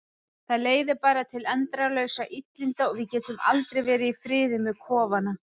Það leiðir bara til endalausra illinda og við getum aldrei verið í friði með kofana.